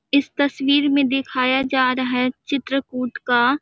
इस तस्वीर मैं दिखाया जा रहा है चित्रकूट का--